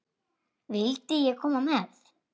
Vildi ég koma með?